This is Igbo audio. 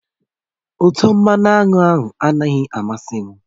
Utọ mmanụ aṅụ anaghị amasị m